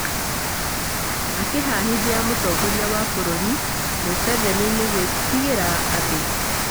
Akĩhahithia mũtongoria wa bũrũri Museveni nĩ ‘’gwitigĩra andũ’’